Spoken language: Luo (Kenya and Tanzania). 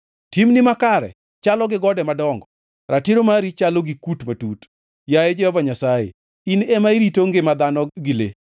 Timni makare chalo gi gode madongo, ratiro mari chalo gi kut matut. Yaye Jehova Nyasaye, in ema irito ngima dhano gi le.